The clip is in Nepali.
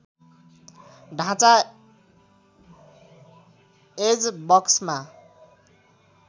ढाँचा एज बक्समा